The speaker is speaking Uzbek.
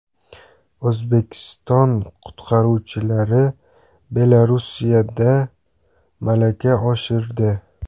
O‘zbekiston qutqaruvchilari Belarusda malaka oshirdi .